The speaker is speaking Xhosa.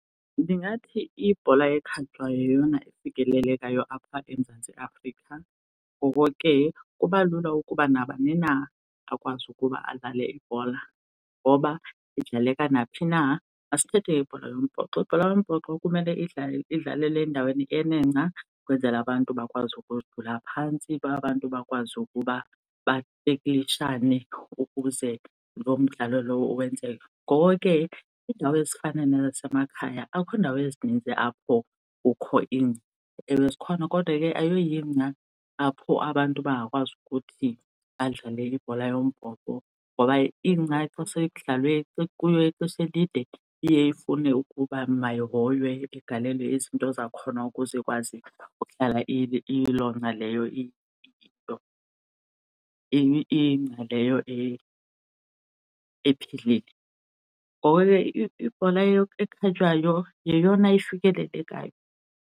Ndingathi ibhola ekhatywayo yeyona ifikelelekayo apha eMzantsi Afrika, ngoko ke kubalula ukuba nabani na akwazi ukuba adlale ibhola ngoba idlaleka naphi na. Masithethe ngebhola yombhoxo, ibhola yombhoxo kumele idlale, idlalele endaweni enengca ukwenzela abantu bakwazi ukuzijula phantsi, abantu bakwazi ukuba bateklishane ukuze lo mdlalo lowo wenzeke. Ngoko ke iindawo ezifana nasemakhaya akho ndawo ezininzi apho kukho ingca. Ewe, zikhona kodwa ke ayoyingca apho abantu bangakwazi ukuthi badlale ibhola yombhoxo. Ngoba ingca xa sekudlalwe ekuyo ixesha elide iye ifune ukuba mayihoywe, igalelwe izinto zakhona ukuze ikwazi ukuhlala iyiloo ngca leyo , ingca leyo ephilile. Ngoko ke ibhola ekhatywayo yeyona ifikelelekayo.